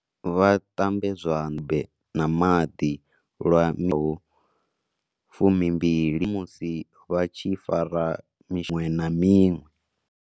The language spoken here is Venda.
Vha ṱambe zwanḓa na maḓi lwa ho 20, musi vha tshi fara miṅwe na miṅwe.